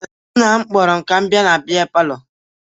Nna m kpọrọ m ka m bịa na bịa palọ